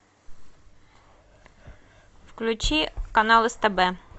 включи канал стб